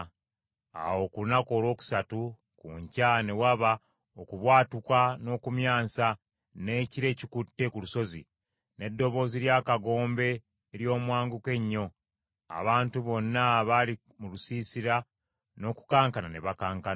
Awo ku lunaku olwokusatu ku nkya ne waba okubwatuka n’okumyansa, n’ekire ekikutte ku lusozi, n’eddoboozi ly’akagombe ery’omwanguka ennyo; abantu bonna abaali mu lusiisira n’okukankana ne bakankana.